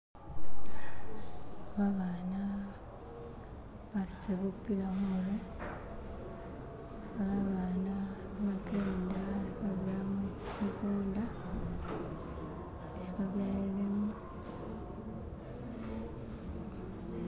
babaana basutila bupila humurwe, babaana hebakenda hubira mukunda ni babelemu